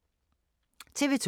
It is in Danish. TV 2